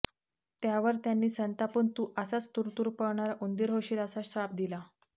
त्यावर त्यांनी संतापून तू असाच तुरूतुरू पळणारा उंदीर होशील असा शाप दिला